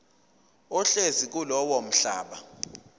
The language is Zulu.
ohlezi kulowo mhlaba